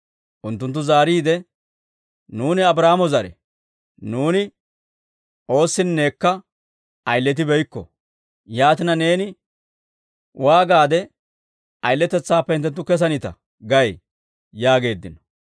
Unttunttu zaariide, «Nuuni Abraahaamo zare; nuuni oossinnekka ayiletibeykko. Yaatina neeni waagaade, ‹Ayiletetsaappe hinttenttu kesanita› gay?» yaageeddino.